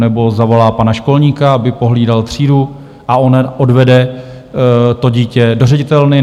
Nebo zavolá pana školníka, aby pohlídal třídu, a on odvede to dítě do ředitelny?